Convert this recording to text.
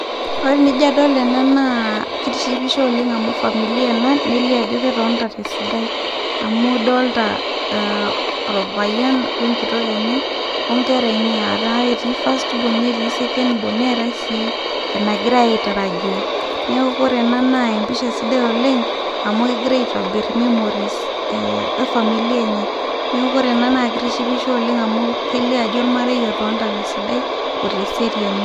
Ore tenijio adol ena na ,kitishipisho oleng amu familia ena, na kelio ajo ketonita tesidai. amu idolta olpayian wenkitok enye, onkera enye eti first born neti second born, neetae si enangiare aitarajia, niaku kore ena na episha sidai, oleng amu kengira aitobir memories efamilia enye, niaku ore ena na kitishipisho oleng amu kelio ajo olmarei otonita tesidai oteseriani,